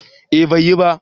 eh bai yi ba